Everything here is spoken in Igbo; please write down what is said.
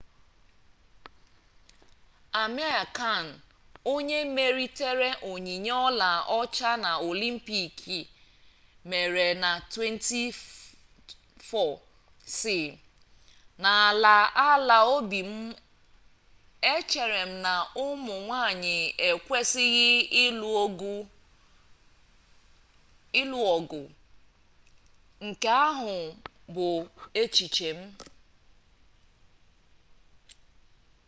amir khan onye meritere onyinye ọla ọcha na olimpik e mere na 2004 sị n'ala ala obi m echere m na ụmụnwanyị ekwesịghị ịlụ ọgụ nke ahụ bụ echiche m